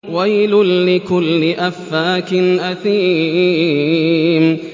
وَيْلٌ لِّكُلِّ أَفَّاكٍ أَثِيمٍ